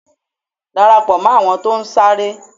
Darapo mó àwọn tó ń sáré.